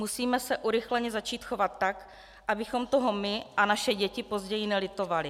Musíme se urychleně začít chovat tak, abychom toho my a naše děti později nelitovali.